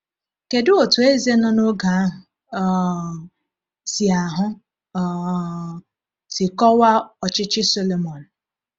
Kedu otú eze nọ n’oge ahụ um si ahụ um si kọwaa ọchịchị Sọlọmọn?